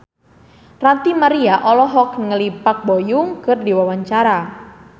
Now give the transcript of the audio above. Ranty Maria olohok ningali Park Bo Yung keur diwawancara